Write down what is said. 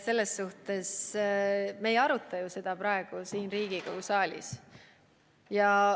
Me ei aruta ju seda praegu siin Riigikogu saalis.